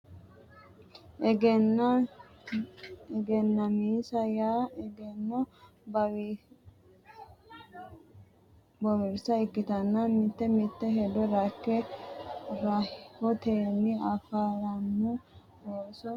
Egennaa misa yaa egenno bowirsa ikkite mite mite hedo rakke rahotenni affaranno ooso xunsonsa seekkite amaxxite qoxxisama dandiitanno gede assate Egennaa misa.